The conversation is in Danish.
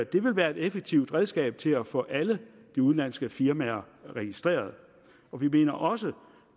det vil være et effektivt redskab til at få alle de udenlandske firmaer registreret vi mener også